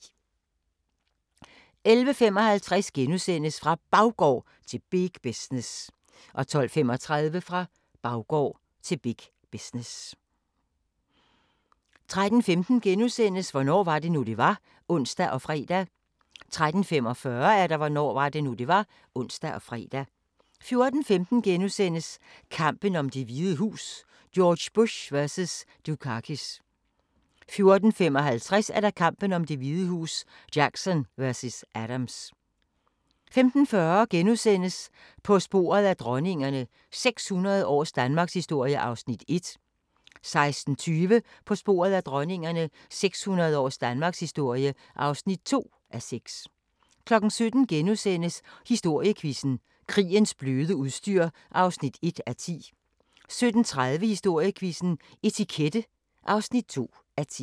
11:55: Fra Baggård til big business * 12:35: Fra baggård til big business 13:15: Hvornår var det nu, det var? *(ons og fre) 13:45: Hvornår var det nu, det var? (ons og fre) 14:15: Kampen om Det Hvide Hus: George Bush vs. Dukakis * 14:55: Kampen om Det Hvide Hus: Jackson vs. Adams 15:40: På sporet af dronningerne – 600 års danmarkshistorie (1:6)* 16:20: På sporet af dronningerne – 600 års danmarkshistorie (2:6) 17:00: Historiequizzen: Krigens bløde udstyr (1:10)* 17:30: Historiequizzen: Etikette (2:10)